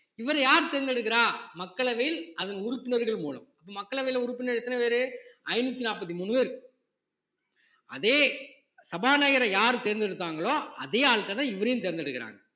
இவரை யார் தேர்ந்தெடுக்கிறா மக்களவையில் அதன் உறுப்பினர்கள் மூலம் அப்ப மக்களவையில உறுப்பினர் எத்தன பேரு ஐந்நூத்தி நாற்பத்தி மூணு பேரு அதே சபாநாயகரை யார் தேர்ந்தெடுத்தாங்களோ அதே ஆள்கள்தான் இவரையும் தேர்ந்தெடுக்கிறாங்க